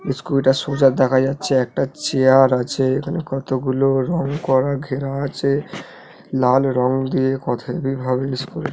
scooter সোজা দেখা যাচ্ছে একটা চেয়ার আছে এখানে কতগুলো রং করা ঘেরা আছে লাল রং দিয়ে কথা কি ভাবে--